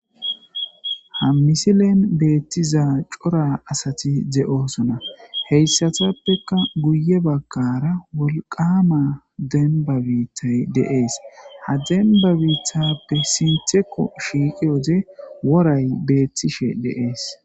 Ha misilen beetiza cora asati de'osona heysatapeka geye bagara wolqama demba biitay de'es ha demba biithape sintheko shiiqiyo wode woray beetishe de'es.